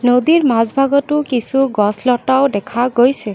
নদীৰ মাজ ভাগতো কিছু গছ লতাও দেখা গৈছে।